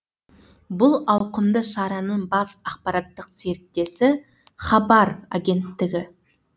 бұл ауқымды шараның бас ақпараттық серіктесі хабар агенттігі